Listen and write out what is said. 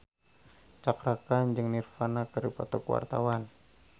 Cakra Khan jeung Nirvana keur dipoto ku wartawan